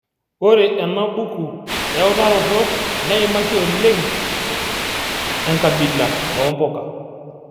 Ore ena buku eutaroto neimaki oleng' enkabila oo mpuka.